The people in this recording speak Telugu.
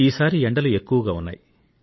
ఈసారి ఎండలు ఎక్కువగా ఉన్నాయి